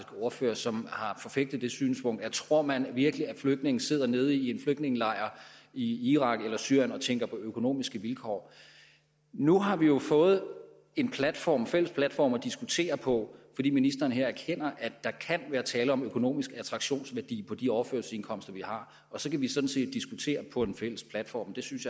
ordførere som har forfægtet synspunktet tror man virkelig at flygtninge sidder nede i en flygtningelejr i irak eller syrien og tænker på økonomiske vilkår nu har vi jo fået en platform en fælles platform at diskutere på fordi ministeren her erkender at der kan være tale om økonomisk attraktionsværdi på de overførselsindkomster vi har så kan vi sådan set diskutere på en fælles platform jeg synes